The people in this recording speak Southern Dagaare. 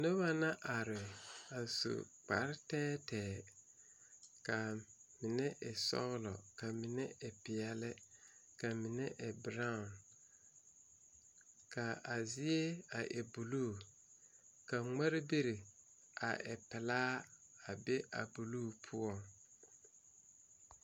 Noba la are a su kpare tɛɛtɛɛ kaa mine e sɔglɔ kaa mine e peɛle ka mine e beraaɔ ka a zie a e buluu ka ŋmarebiri a e pilaa a be a buluu poɔŋ.